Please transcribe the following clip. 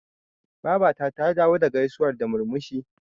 Babata ta dawo da gaisuwar da murmushi.